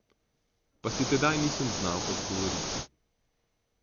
Pa si tedaj nisem znal odgovoriti.